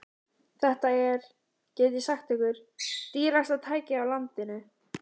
Þetta er, get ég sagt ykkur, dýrasta tækið á landinu.